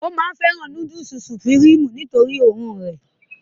ó fẹ́ràn núdùsì sùpìrímù nítorí òórùn rẹ̀